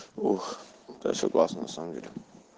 ух ты согласна на самом деле